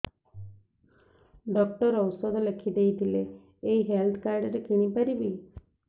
doctor ଔଷଧ ଲେଖିଦେଇଥିଲେ ଏଇ ହେଲ୍ଥ କାର୍ଡ ରେ କିଣିପାରିବି